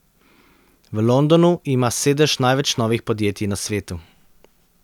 V Londonu ima sedež največ novih podjetij na svetu.